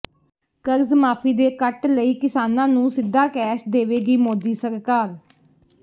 ਕਰਜ਼ ਮਾਫ਼ੀ ਦੇ ਕੱਟ ਲਈ ਕਿਸਾਨਾਂ ਨੂੰ ਸਿੱਧਾ ਕੈਸ਼ ਦੇਵੇਗੀ ਮੋਦੀ ਸਰਕਾਰ